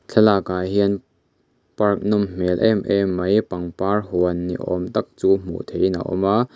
thlalak ah hian park nawm hmel em em mai pangpar huan ni awm tak chu hmuh theihin a awm a.